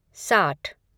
साठ